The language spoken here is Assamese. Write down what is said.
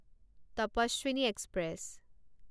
তপস্বিনী এক্সপ্ৰেছ